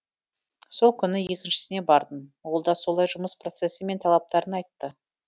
сол күні екіншісіне бардым олда солай жұмыс процессі мен талаптарын айтты